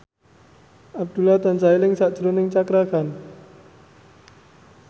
Abdullah tansah eling sakjroning Cakra Khan